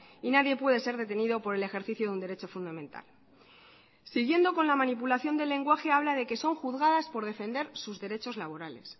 y nadie puede ser detenido por el ejercicio de un derecho fundamental siguiendo con la manipulación del lenguaje habla de que son juzgadas por defender sus derechos laborales